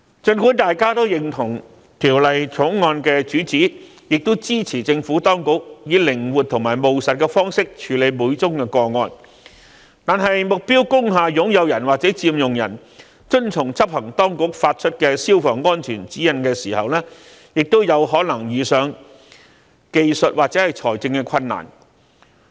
儘管大家也認同《條例草案》的主旨，亦支持政府當局以靈活和務實的方式處理每宗個案，但目標工廈擁有人或佔用人遵從執行當局發出的消防安全指引時，亦有可能遇上技術或財政困難。